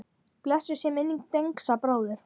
Blessuð sé minning Dengsa bróður.